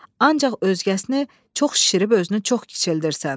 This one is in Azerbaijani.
Ancaq özgəsini çox şişirib özünü çox kiçildirsən.